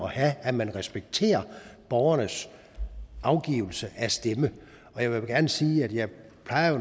at have at man respekterer borgernes afgivelse af stemme jeg vil gerne sige at jeg